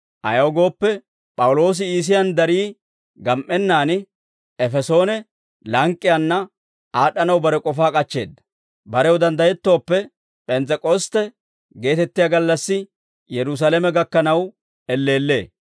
Ayaw gooppe, P'awuloosi Iisiyaan darii gam"ennaan Efesoone lank'k'iyaanna aad'd'anaw bare k'ofaa k'achcheedda; barew danddayettooppe, P'ens's'ek'ostte geetettiyaa gallassi Yerusaalame gakkanaw elleellee.